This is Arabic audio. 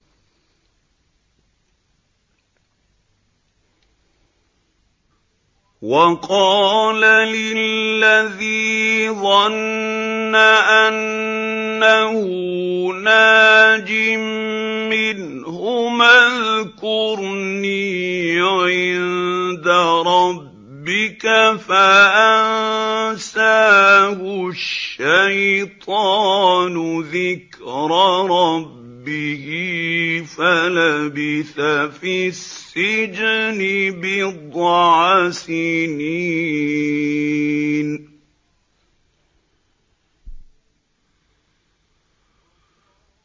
وَقَالَ لِلَّذِي ظَنَّ أَنَّهُ نَاجٍ مِّنْهُمَا اذْكُرْنِي عِندَ رَبِّكَ فَأَنسَاهُ الشَّيْطَانُ ذِكْرَ رَبِّهِ فَلَبِثَ فِي السِّجْنِ بِضْعَ سِنِينَ